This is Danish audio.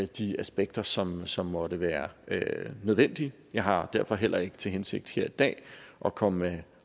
de aspekter som som måtte være nødvendige jeg har derfor heller ikke til hensigt her i dag at komme med